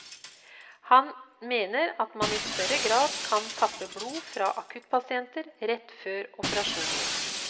Han mener at man i større grad kan tappe blod fra akuttpasienter rett før operasjonen.